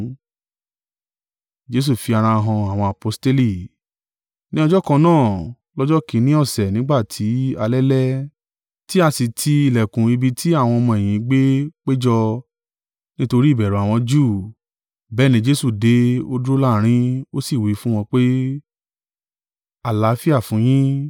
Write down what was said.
Ní ọjọ́ kan náà, lọ́jọ́ kìn-ín-ní ọ̀sẹ̀ nígbà tí alẹ́ lẹ́, tí a sì ti ìlẹ̀kùn ibi tí àwọn ọmọ-ẹ̀yìn gbé péjọ, nítorí ìbẹ̀rù àwọn Júù, bẹ́ẹ̀ ni Jesu dé, ó dúró láàrín, ó sì wí fún wọn pé, “Àlàáfíà fún yín.”